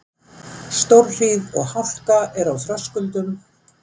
Stórhríð og hálka er á Þröskuldum